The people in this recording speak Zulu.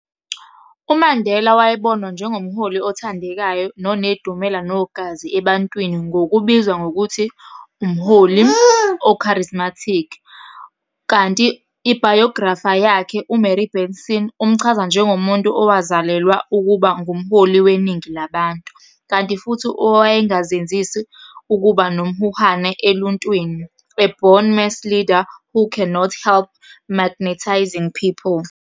UMandela wayebonwa njengomholi othandekayo nonedumela nogazi ebantwini ngokubizwa ngokuthi umholi o-charismatic, kanti ibhayografa yakhe, uMary Benson, umchaza njengomuntu owazalelwa ukuba ngumholi weningi labantu, kanti futhi owayengazezinsi ukuba nomhuhane eluntwini, "a born mass leader who could not help magnetizing people".